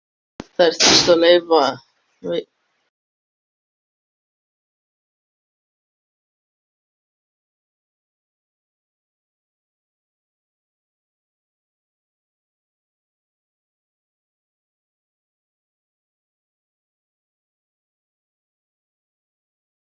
Bernharð, hvenær kemur fimman?